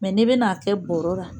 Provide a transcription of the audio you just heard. Mɛ ne bɛ n'a kɛ bɔrɔ la